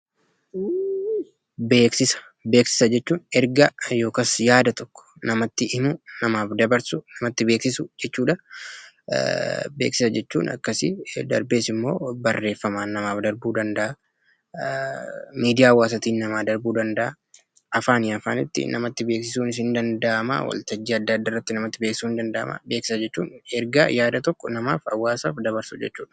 Beeksisa, Beeksisa jechuun ergaa yookas yaada tokko namatti himuu, namaaf dabarsuu, namatti beeksisuu jechuudhaa. Beeksisa jechuun akkasii, darbees immoo barreeffamaan namaaf darbuu danda'aa, miidiyaa hawaasaatiin namaa darbuu danda'aa, afaanii afaanitti namatti beeksisuunis hin danda'amaa, waltajjii adda addaarratti namatti beeksisuun in danda'amaa. Beeksisa jechuun ergaa yaada tokko namaaf, hawaasaf dabarsuu jechuudha.